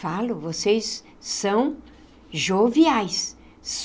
Falo, vocês são joviais.